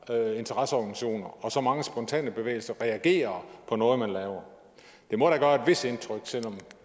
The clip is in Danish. interesseorganisationer og så mange spontane bevægelser reagerer på noget man laver det må da gøre et vist indtryk selv om